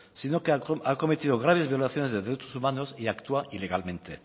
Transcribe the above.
sino que ha cometido graves violaciones de derechos humanos y actúa ilegalmente